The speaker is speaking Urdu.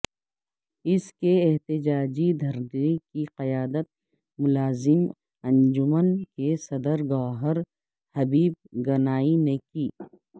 اس احتجاجی دھرنے کی قیادت ملازم انجمن کے صدر گو ہر حبیب گنائی نے کی